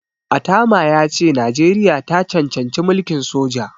Atama ya ce Najeriya ta cancanci mulkin soja.